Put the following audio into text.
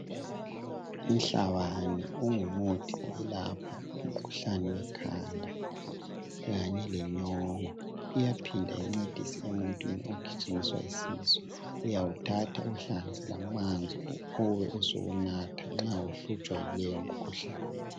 Inhlabani ingumuthi wokwelapha umkhuhlane ekhanda kanye lenyongo iyaphinda incedise emuntwini ogijinyiswa isisu, uyawuthatha uwuhlanganise amanzi ubuye usunatha nxa uhlutshwa yileyo mikhuhlane.